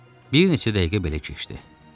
Bir neçə dəqiqə belə keçdi.